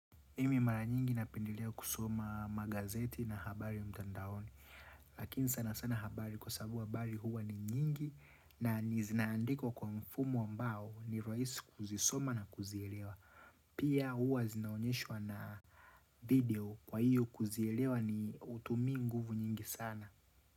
Mimi mara nyingi napendelea kusoma magazeti na habari mtandaoni Lakini sana sana habari kwa sababu habari huwa ni nyingi na zinaandikwa kwa mfumo ambao ni rahisi kuzisoma na kuzielewa Pia huwa zinaonyeshwa na video kwa hiyo kuzielewa ni hutumii nguvu nyingi sana.